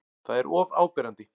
Það er of áberandi.